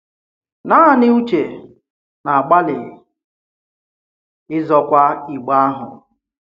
Naanị Ùchè na-agbàlị ịzọ̀kwa Ìgbe ahụ.